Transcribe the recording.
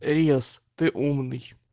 риас ты умный